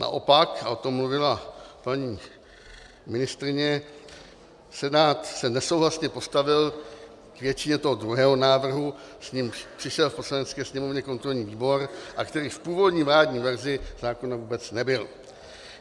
Naopak, a o tom mluvila paní ministryně, Senát se nesouhlasně postavil k většině toho druhého návrhu, s nímž přišel v Poslanecké sněmovně kontrolní výbor a který v původní vládní verzi zákona vůbec nebyl.